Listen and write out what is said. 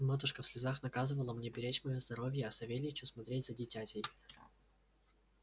матушка в слезах наказывала мне беречь моё здоровье а савельичу смотреть за дитятей